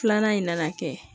Filanan in na kɛ